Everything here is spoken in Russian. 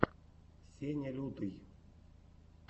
сеня лютый